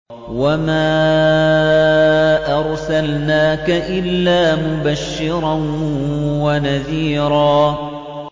وَمَا أَرْسَلْنَاكَ إِلَّا مُبَشِّرًا وَنَذِيرًا